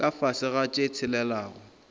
ka fase ga tše tshelelago